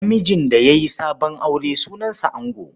Namijin da ya yi sabon aure sunansa ango.